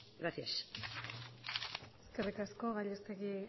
gracias eskerrik asko gallastegui